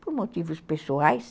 por motivos pessoais.